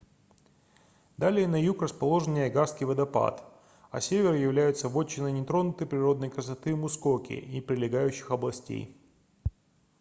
далее на юг расположен ниагарский водопад а север является вотчиной нетронутой природной красоты мускоки и прилегающих областей